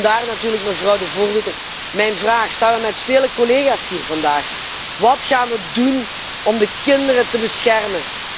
Vandaar natuurlijk, mevrouw de voorzitter, mijn vraag, samen met vele collega's hier wat gaan we doen om de kinderen te beschermen?